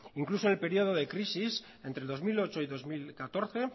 incluso en el periodo de crisis entre el dos mil ocho y dos mil catorce